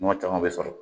Ɲɔ caman be sɔrɔ